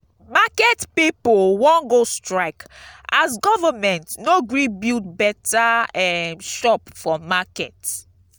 market pipu wan go strike as government no gree build beta um shop for market